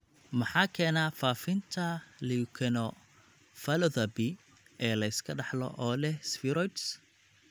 Maxaa keena faafinta leukoencephalopathy ee la iska dhaxlo oo leh spheroids (HDLS)?